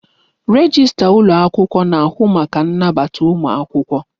Rejistra ụlọ akwụkwọ na-ahụ maka ịnabata ụmụ akwụkwọ.